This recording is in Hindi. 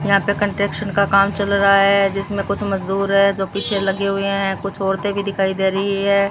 यहां पे कंट्रेक्शन का काम चल रहा है जिसमें कुछ मजदूर हैं जो पीछे लगे हुए हैं कुछ औरतें भी दिखाई दे रही है।